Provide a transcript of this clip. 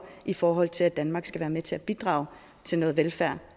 i forhold til at danmark skal være med til at bidrage til noget velfærd